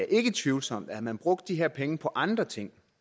ikke tvivlsomt at havde man brugt de her penge på andre ting